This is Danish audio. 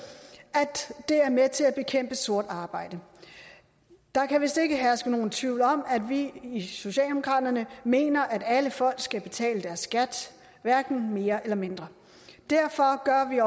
at det er med til at bekæmpe sort arbejde der kan vist ikke herske nogen tvivl om at vi i socialdemokraterne mener at alle folk skal betale deres skat hverken mere eller mindre derfor gør vi